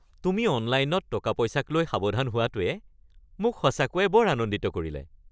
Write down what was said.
তুমি অনলাইনত টকা-পইচাক লৈ সাৱধান হোৱাটোৱে মোক সঁচাকৈ বৰ আনন্দিত কৰিলে। (বন্ধু ২)